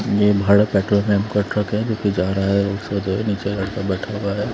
निर्बाध पेट्रोल नाम का ट्रक है लेकर जा रहा है। उसको दो नीचे लड़का बैठा हुआ है।